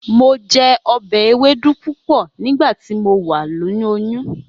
Mo je obe ewedu pupo nigbati mo wa loyun.